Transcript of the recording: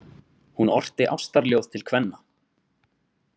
Hún orti ástarljóð til kvenna.